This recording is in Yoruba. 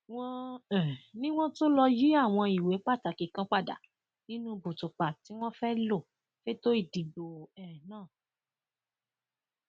wọn um ní wọn tún lọọ yìí àwọn ìwé pàtàkì kan padà nínú bùtùpà tí wọn fẹẹ lò fẹtọ ìdìbò um náà